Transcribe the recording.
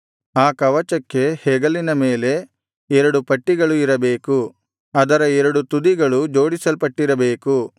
ಆ ಕವಚಕ್ಕೆ ಹೆಗಲಿನ ಮೇಲೆ ಎರಡು ಪಟ್ಟಿಗಳು ಇರಬೇಕು ಅದರ ಎರಡು ತುದಿಗಳು ಜೋಡಿಸಲ್ಪಟ್ಟಿರಬೇಕು